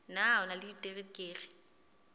na o na le diterekere